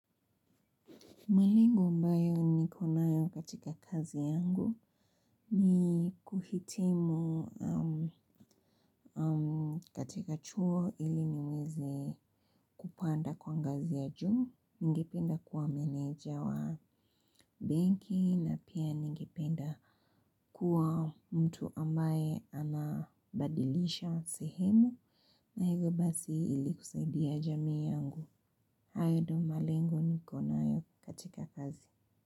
Malengo ambayo niko nayo katika kazi yangu ni kuhitimu katika chuo ili niweze kupanda kwa ngazi ya juu, ningependa kuwa meneja wa benki na pia ningependa kuwa mtu ambaye anabadilisha sehemu na hivyo basi ili kusaidia jamii yangu. Hayo ndio malengo niko nayo katika kazi.